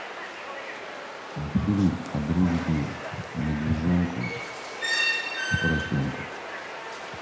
мультфильм о дружбе медвежонка с поросенком